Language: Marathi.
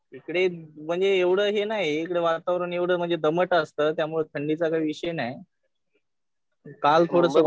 इकडे म्हणजे एवढं हे नाही. इकडे वातावरण म्हणजे एवढं दमट असतं. त्यामुळे थंडीचा काही विषय नाही. काल थोडंसं वाटलं.